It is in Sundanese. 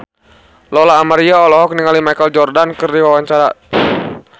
Lola Amaria olohok ningali Michael Jordan keur diwawancara